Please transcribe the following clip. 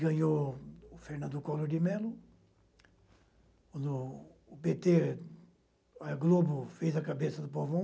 Ganhou o Fernando Collor de Mello, quando o pê tê, a Globo, fez a cabeça do povão.